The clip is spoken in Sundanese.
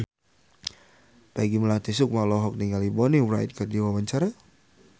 Peggy Melati Sukma olohok ningali Bonnie Wright keur diwawancara